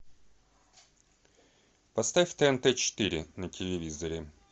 поставь тнт четыре на телевизоре